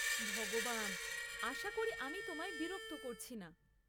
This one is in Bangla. ভগবান! আশা করি আমি তোমায় বিরক্ত করছি না।